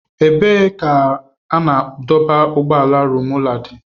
Ebee ka ebe a na-adọba- ụgbọala Rumuọla dị?